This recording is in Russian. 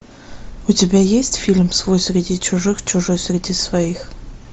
у тебя есть фильм свой среди чужих чужой среди своих